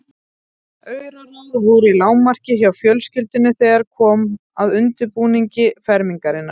Auraráð voru í lágmarki hjá fjölskyldunni þegar kom að undirbúningi fermingarinnar.